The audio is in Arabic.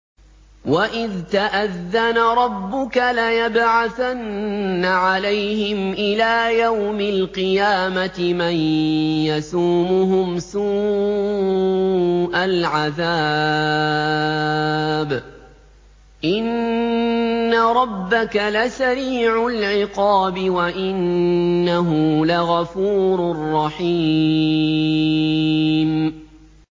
وَإِذْ تَأَذَّنَ رَبُّكَ لَيَبْعَثَنَّ عَلَيْهِمْ إِلَىٰ يَوْمِ الْقِيَامَةِ مَن يَسُومُهُمْ سُوءَ الْعَذَابِ ۗ إِنَّ رَبَّكَ لَسَرِيعُ الْعِقَابِ ۖ وَإِنَّهُ لَغَفُورٌ رَّحِيمٌ